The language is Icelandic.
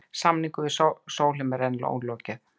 Samningum við Sólheima er enn ólokið